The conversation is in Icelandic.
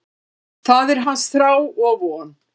Það er hans þrá og von.